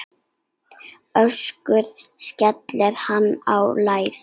Össur skellti sér á lær.